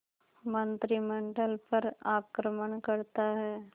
मंत्रिमंडल पर आक्रमण करता है